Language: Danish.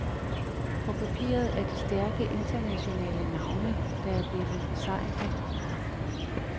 På papiret er det stærke internationale navne, der er blevet besejret.